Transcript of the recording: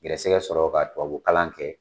Gɛrisigɛ sɔrɔ ka tubabu kalan kɛ.